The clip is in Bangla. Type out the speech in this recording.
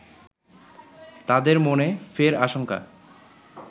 তাদের মনে ফের আশঙ্কা